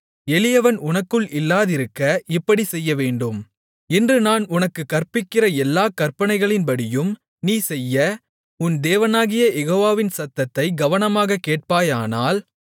எளியவன் உனக்குள் இல்லாதிருக்க இப்படிச் செய்யவேண்டும் இன்று நான் உனக்குக் கற்பிக்கிற எல்லாக் கற்பனைகளின்படியும் நீ செய்ய உன் தேவனாகிய யெகோவாவின் சத்தத்தைக் கவனமாகக் கேட்பாயானால்